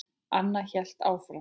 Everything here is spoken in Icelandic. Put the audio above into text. Anna hélt áfram.